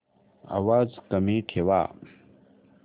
आवाज कमी ठेवा